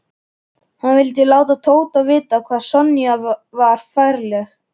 Hann vildi láta Tóta vita hvað Sonja var ferleg.